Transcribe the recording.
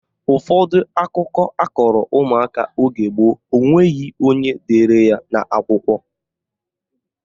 Ụfọdụ akụkọ akọrọ ụmụaka oge gboo enweghị onye dere ya n'akwụkwọ